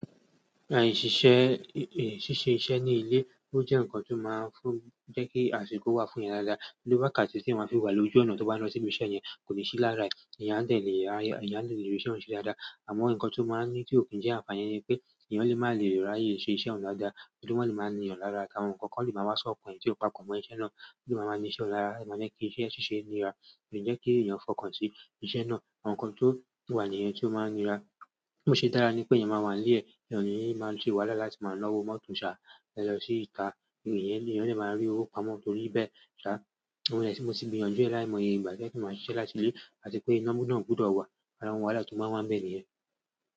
Àì ṣíṣe iṣẹ́ ní ilé, ó jẹ́ ǹkan tó máa ń jẹ́ kí àsìkò wà fún yan dáadáa, ni wàkàtí tí eeyan máa fi wà lójú ọ̀nà tó bá lọ sí ibi iṣẹ́ yẹn kò ní ṣí lára ẹ̀, èèyàn á dẹ̀ lé rí iṣẹ́ òun ṣe dáadáa. Àmọ́ ǹkan tó máa ń ní ti ó kí ń jẹ́ àfààní ni pé èèyàn lè máa le raye se iṣẹ́ òun dáadáa torí wọ́n lè máa ní yan lára àtàwọn ǹkan kan lè máa ma wá sọ̀kan e. Tí ó bá kò mọ iṣẹ́ náà, tí ó lè máa ní iṣẹ́ o lára, ó máa ń jẹ́ kí iṣẹ́ ṣíṣe nira, kí jẹ́ kí èèyàn fọkàn sí iṣẹ́ náà, àwọn nǹkan tó wà ní nìyẹn tí ó máa ń nira. Bó ṣe dára ni pé èèyàn máa wà nílẹ̀, èèyàn ó ní máa ń ṣe wàhálà la ti máa nawọ́ mọ́tò sá lọ sí ìta, èèyàn lè máa rí owó pamọ́ torí bẹ́ẹ̀. Ṣa, àìmọye ìgbà tí mo ti gbìyan jù ẹ láì mọ ìyegbà tí ó jẹ́ pé máa ṣiṣẹ́ láti ilẹ̀ àti pé iná ná gbudọ̀ wá, àwọn wàhálà tó máa ń wà níbẹ̀ ní yẹn.